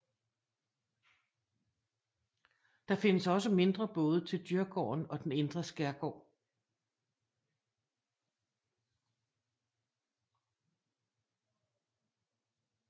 Der findes også mindre både til Djurgården og den indre skærgård